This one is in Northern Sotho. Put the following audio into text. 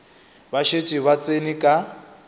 ba šetše ba tsene ka